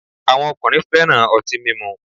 Awọn ọkunrin fẹ́ràn ọti mímu